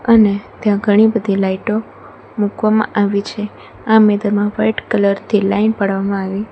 અને ત્યાં ઘણી બધી લાઇટો મૂકવામાં આવી છે આ મેદામાં વાઈટ કલર થી લાઈન પાડવામાં આવી--